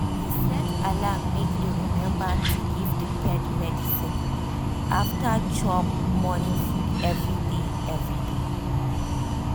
he set alarm make e remember to give the pet medicine after chop morning food every day. every day.